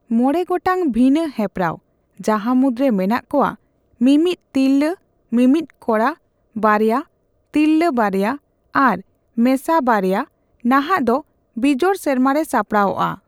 ᱢᱚᱬᱮ ᱜᱚᱴᱟᱝ ᱵᱷᱤᱱᱟᱹ ᱦᱮᱯᱨᱟᱣ, ᱡᱟᱦᱟᱸᱢᱩᱫᱽᱨᱮ ᱢᱮᱱᱟᱜ ᱠᱚᱣᱟ ᱢᱤᱢᱤᱫ, ᱛᱤᱨᱞᱟ ᱢᱤᱢᱤᱫ, ᱠᱚᱲᱟ ᱵᱟᱨᱭᱟ, ᱛᱤᱨᱞᱟᱹ ᱵᱟᱨᱭᱟ ᱟᱨ ᱢᱮᱥᱟ ᱵᱟᱨᱭᱟ, ᱱᱟᱦᱟᱜᱫᱚ ᱵᱤᱡᱚᱲ ᱥᱮᱨᱢᱟᱨᱮ ᱥᱟᱯᱲᱟᱣᱚᱜᱼᱟ ᱾